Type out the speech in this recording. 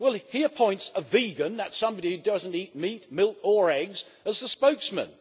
Well, he appoints a vegan that is somebody who does not eat meat, milk or eggs as the spokesman.